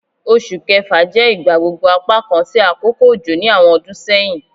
Oṣu Kẹfa jẹ igbagbogbo apakan ti akoko ojo ni awọn ọdun sẹhin